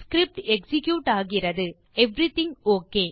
script execute ஆகிறது எல்லாம் நலமே